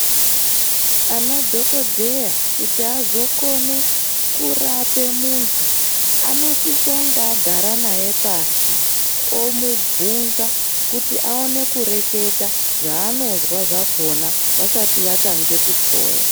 Anadhogodheya kuti azokone kurape muntu. Anosisonge agara naye pashi omubvunza kuti aone kueketa zvaanozwa zvakona, vasati vatange kuhloya.